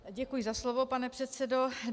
Děkuji za slovo, pane předsedo.